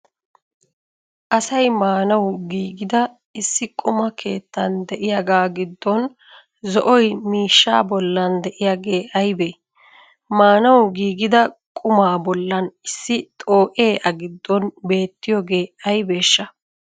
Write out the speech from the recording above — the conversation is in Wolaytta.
asay maanawu giggida issi qumaa keettan de"iyagaa giddon zo'oy miishshaa bollan de'iyagee aybee? maanawu giggidaaqumaa bollan issi xoo'ee a giddon beettiyogee aybeshaa?